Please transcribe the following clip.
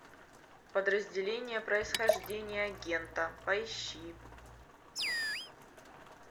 подразделение происхождение агента поищи